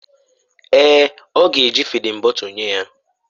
Èè, ọ ga-eji fịdin bọtul nye ya.